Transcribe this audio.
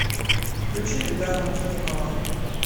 включи эльдара муслимова